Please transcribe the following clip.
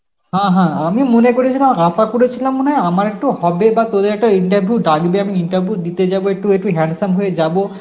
হা হা, আমি মনে করেছিলাম আশা করেছিলাম মনে হয় আমার একটু হবে বা তোদের একটু interview ডাকবে আমি interview দিতে যাব একটু ওটু handsome হয়ে যাব